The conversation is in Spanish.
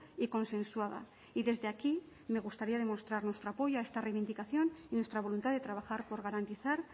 y consensuada y desde aquí me gustaría demostrar nuestro apoyo a esta reivindicación y nuestra voluntad de trabajar por garantizar